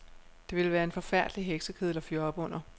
Det ville være en forfærdelig heksekedel at fyre op under.